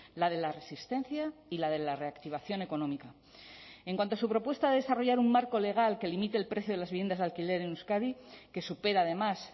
la de la resistencia y la de la reactivación económica en cuanto a su propuesta de desarrollar un marco legal que limite el precio de las viviendas de alquiler en euskadi que supera además